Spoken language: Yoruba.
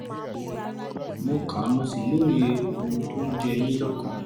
mo ka mo sì lóye ohun tó ń jẹ yín lọ́kàn